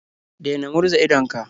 Daina murza idonka.